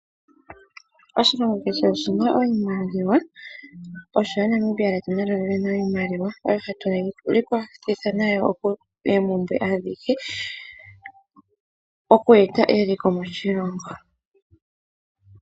Oshilongo kehe oshina iimaliwa , oshowo Namibia letu nalyo olina iimaliwa mbyo hatu yikwathele nayo ompumbwe adhihe oku eta eliko moshilongo.